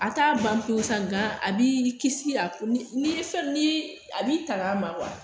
A t'a ban pewu sa nga a bi kisi a fɛ ni a b'i tanga a ma